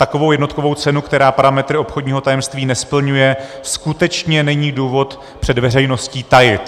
Takovou jednotkovou cenu, která parametry obchodního tajemství nesplňuje, skutečně není důvod před veřejností tajit.